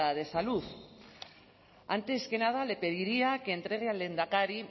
de salud antes que nada le pediría que entregue al lehendakari